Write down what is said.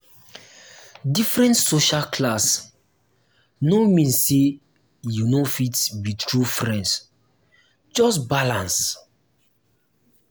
different social class no mean say you no fit be true friend just balance.